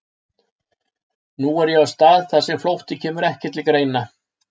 Nú er ég á stað þar sem flótti kemur ekki til greina.